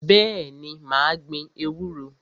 Bẹ́ẹ̀ni, mà á gbin ewúro.